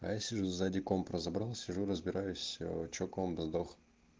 а я сижу сзади комп разобрал сижу разбираюсь ээ что комп сдох